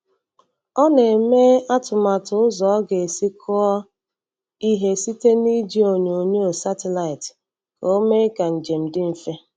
Ọ na-eme atụmatụ ụzọ o ga-esi kụọ ihe site n'iji onyoonyo satịlaịtị ka ọ mee ka njem dị mfe.